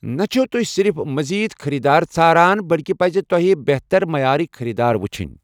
نہ چھِو تُہۍ صِرف مزید خٔریٖدار ژھاران بلکہِ پزِ تۄہہِ بہتر معیارٕکۍ خٔریٖدار وٕچھنۍ۔